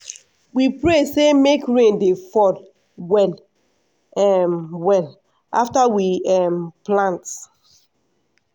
we pray same make rain dey fall well um well after we um plant.